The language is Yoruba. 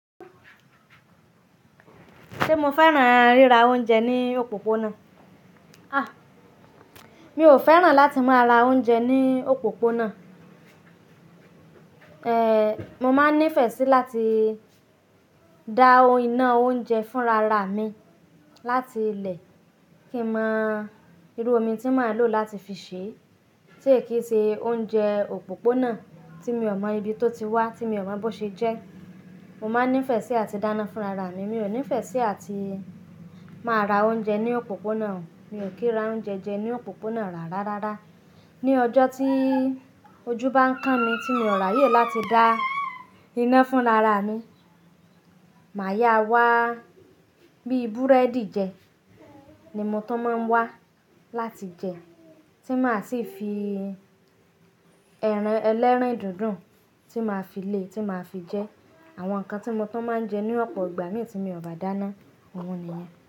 Ṣé mo fẹ́ràn ríra oúnjẹ ní òpópónà? Àh! Mi ò fẹ́ràn láti máa ra oúnjẹ ní òpópónà. Ehn, mo máa ń nífẹ̀ẹ́ sí láti da iná oúnjẹ fúnra ra mi láti ilẹ̀, kí mọ irú omi tí màá lò láti fi sè é, tí èyí kì í ṣe oúnjẹ òpópónà tí mi ò mọ ibi tó ti wá, tí mi ò mọ bó ṣe jẹ́. Mo máa ń nífẹ̀ẹ́ sí àti dáná fúnra ra mi. Mi ò nífẹ̀ẹ́ sí àti máa ra oúnjẹ ní òpópónà o. Mi ò kí ra oúnjẹ jẹ ní òpópónà rárá rárá. Ni ọjọ́ tí ojú bá ń ká mi tí mi ò rààyè láti dá iná fúnra ra mi, màá yá wá bíi búrẹ́dì jẹ ni mo tó máa ń wá láti jẹ, tí màá sì fi ẹran ẹlẹ́rìndòdò tí màá fi le tí màá fi jẹ. Àwọn nǹkan tí mo tún máa ń jẹ ní ọ̀pọ̀ ìgbà mí tí mo ò bá dáná, òun nìyen.